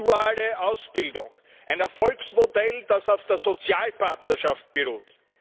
Es ist die duale Ausbildung ein Erfolgsmodell, das auf der Sozialpartnerschaft beruht.